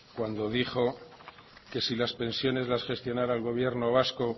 cuando dijo que si las pensiones las gestionara el gobierno vasco